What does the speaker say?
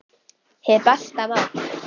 Hið besta mál